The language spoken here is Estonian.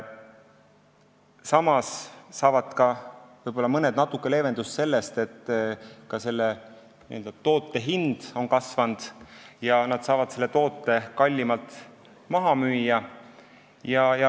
Samas saavad mõned natuke leevendust sellest, et ka toote hind on kasvanud, ja nad saavad selle kallimalt maha müüa.